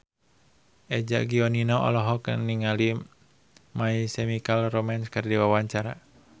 Eza Gionino olohok ningali My Chemical Romance keur diwawancara